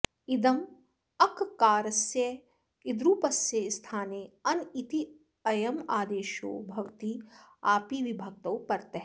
इदमः अककारस्य इद्रूपस्य स्थाने अन इत्ययम् आदेशो भवति आपि विभक्तौ परतः